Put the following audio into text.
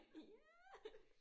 Ja